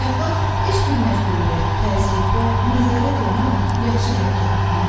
Əxlaq heç bir məcburiyyət, təzyiq və nəzarət olmadan yaxşı hərəkət etməkdir.